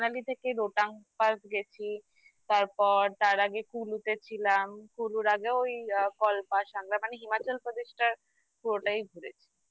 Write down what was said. Manali থেকে Rohtang pass গেছি তারপর তার আগে Kullu তে ছিলাম Kullu আগে ওই অ্যা Kalpa মানে Himachalpradesh -এর পুরোটাই ঘুরেছি